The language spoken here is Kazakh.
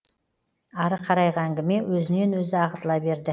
ары қарайғы әңгіме өзінен өзі ағытыла берді